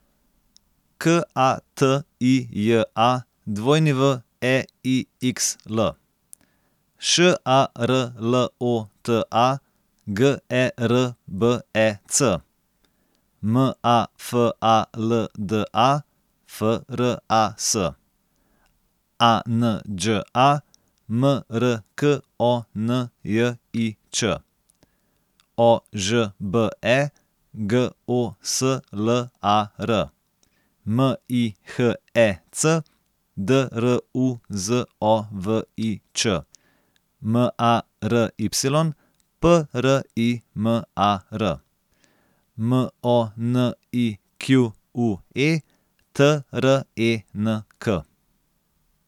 K A T I J A, W E I X L; Š A R L O T A, G E R B E C; M A F A L D A, F R A S; A N Đ A, M R K O N J I Ć; O Ž B E, G O S L A R; M I H E C, D R U Z O V I Č; M A R Y, P R I M A R; M O N I Q U E, T R E N K.